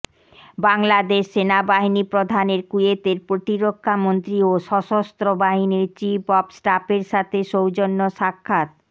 বাংলাদেশ সেনাবাহিনী প্রধানের কুয়েতের প্রতিরক্ষামন্ত্রী ও সশস্ত্র বাহিনীর চীফ অব স্টাফের সাথে সৌজন্য সাক্ষাত